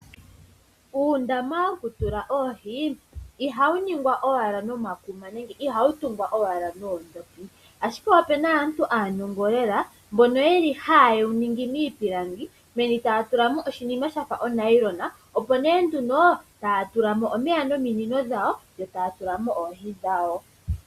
Uundama woku tula oohi ihawu ningwa owala noma kuma nenge ihawu tungwa owala noondhopi, ashike opena aantu aanongo lela mbono yeli haya ningi niipilangi meni taya tulsmo oshinima shafa onayilona, opo nee nduno taya tulamo omeya nominino dhawo yo taya tulamo oohi dhawo.